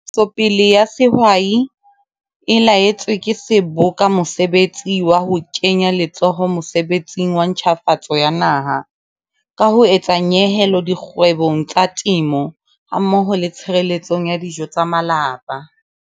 Ntshetsopele ya Sehwai e laetswe ke Seboka mosebetsi wa ho kenya letsoho mosebetsing wa ntjhafatso ya Naha ka ho etsa nyehelo dikgwebong tsa temo hammoho le tshireletsong ya dijo tsa malapa.